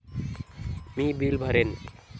मी bill भरेन.